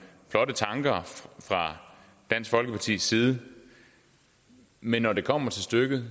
flotte tanker fra dansk folkepartis side men når det kommer til stykket